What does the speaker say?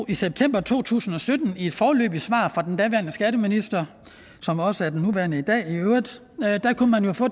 i september to tusind og sytten i et foreløbigt svar fra den daværende skatteminister som jo også er den nuværende